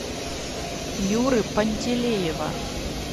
юры пантелеева